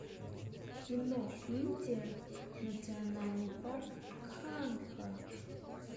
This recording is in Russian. кино индия национальный парк канха